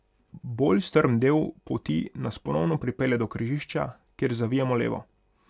Bolj strm del poti nas ponovno pripelje do križišča, kjer zavijemo levo.